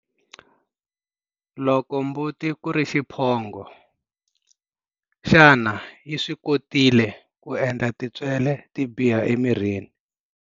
Loko mbuti ku ri xiphongo, xana yi swi kotile ku endla tintswele ti biha emirini?